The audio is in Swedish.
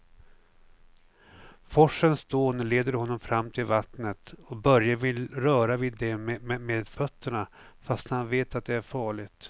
Forsens dån leder honom fram till vattnet och Börje vill röra vid det med fötterna, fast han vet att det är farligt.